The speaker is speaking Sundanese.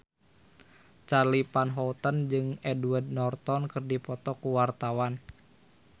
Charly Van Houten jeung Edward Norton keur dipoto ku wartawan